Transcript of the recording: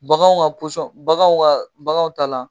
Baganw ŋa baganw ŋa baganw ta la